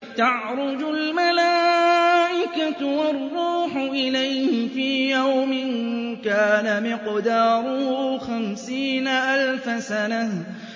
تَعْرُجُ الْمَلَائِكَةُ وَالرُّوحُ إِلَيْهِ فِي يَوْمٍ كَانَ مِقْدَارُهُ خَمْسِينَ أَلْفَ سَنَةٍ